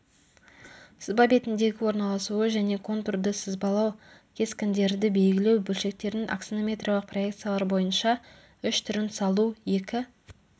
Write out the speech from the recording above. сызба бетіндегі орналасуы және контурды сызбалау кескіндерді белгілеу бөлшектердің аксонометриялық проекциялар бойынша үш түрін салу екі